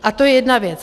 A to je jedna věc.